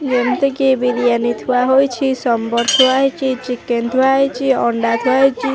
ଯେମିତିକି ବିରିୟାନି ଥୁଆ ହୋଇଛି ସମ୍ୱର ଥୁଆ ହେଇଚି ଚିକେନ ଥୁଆ ହେଇଚି ଅଣ୍ଡା ଥୁଆ ହେଇଚି ।